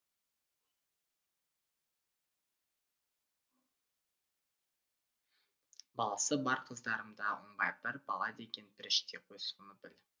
баласы бар қыздарымда оңбай бір бала деген періштеғой соны біл